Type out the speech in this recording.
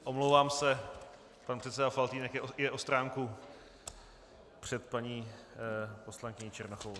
Omlouvám se, pan předseda Faltýnek je o stránku před paní poslankyní Černochovou.